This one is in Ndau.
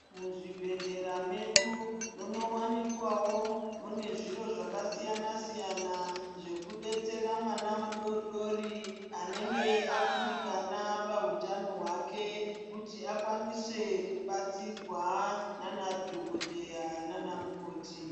Muzvibhedhlera medu munowanikwawo mune zviro zvakasiyana siyana zvekubetsera mwana mudori dori anenge akundikana pahutano hwake, kuti akwanise kubatsirwa nanadhokodheya nanamukoti.